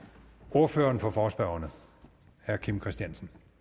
ordføreren for forespørgerne herre kim christiansen